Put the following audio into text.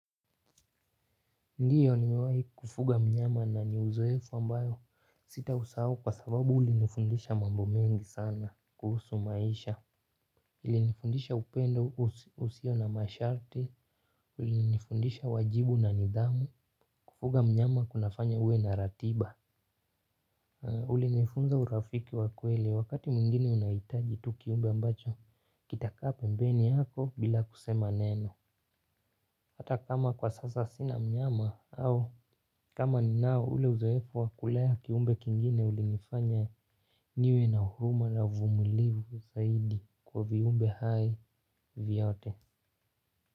Ndiyo ni mewahi kufuga mnyama na ni uzoefu ambayo sita usahau kwa sababu ulinifundisha mambo mengi sana kuhusu maisha. Ilinifundisha upendo usio na masharti, ulinifundisha wajibu na nidhamu, kufuga mnyama kunafanya uwe na ratiba. Ulinifunza urafiki wakweli wakati mwingine unahitaji tu kiumbe ambacho kitakaa pembeni yako bila kusema neno. Hata kama kwa sasa sina mnyama au kama ni nao ule uzoefu wa kulea kiumbe kingine ulinifanya niwe na huruma na uvumulivu zaidi kwa viumbe hai vyote.